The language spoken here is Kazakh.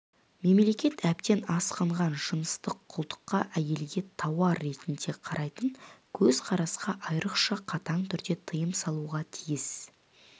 мемлекет әбден асқынған жыныстық құлдыққа әйелге тауар ретінде қарайтын көзқарасқа айрықша қатаң түрде тыйым салуға тиіс